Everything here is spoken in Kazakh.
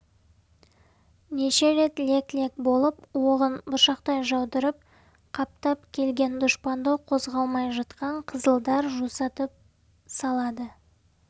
неше рет лек-лек болып оғын бұршақтай жаудырып қаптап келген дұшпанды қозғалмай жатқан қызылдар жусатып салады